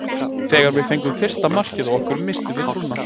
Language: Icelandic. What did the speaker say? Þegar við fengum fyrsta markið á okkur misstum við trúnna.